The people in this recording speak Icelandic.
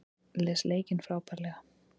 Les leikinn frábærlega